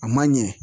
A man ɲɛ